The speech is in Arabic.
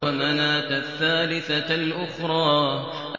وَمَنَاةَ الثَّالِثَةَ الْأُخْرَىٰ